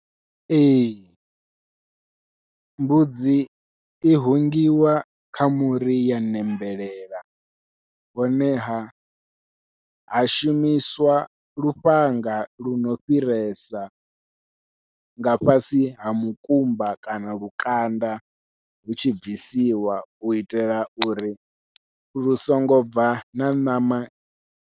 Ee mbudzi i hungiwa kha muri ya ṋembelela, honeha ha shumiswa lufhanga luno fhiresa nga fhasi ha mukumba kana lukanda hutshi bvisiwa u itela uri lu songo bva na ṋama.